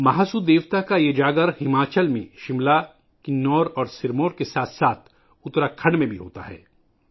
مہاسو دیوتا کا یہ جاگر ہماچل میں شملہ، کنور اور سرمور کے ساتھ ساتھ اتراکھنڈ میں بھی ہوتا ہے